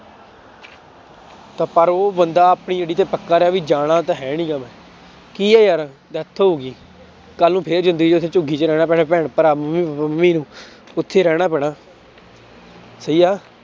ਤਾਂ ਪਰ ਉਹ ਬੰਦਾ ਆਪਣੀ ਅੜੀ ਤੇ ਪੱਕਾ ਰਿਹਾ ਵੀ ਜਾਣਾ ਤਾਂ ਹੈ ਨੀ ਗਾ ਮੈਂ, ਕੀ ਹੈ ਯਾਰ death ਹੋ ਗਈ ਕੱਲ੍ਹ ਨੂੰ ਫਿਰ ਜ਼ਿੰਦਗੀ ਵਿੱਚ ਝੁੱਗੀ ਚ ਰਹਿਣਾ ਪੈਣਾ ਭੈਣ ਭਰਾ ਮੰਮੀ ਮੰਮੀ ਨੂੰ ਉੱਥੇ ਰਹਿਣਾ ਪੈਣਾ ਸਹੀ ਆ